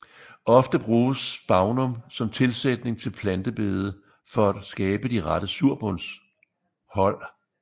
Ofte bruges spagnum som tilsætning til plantebede for at skabe de rette surbundshold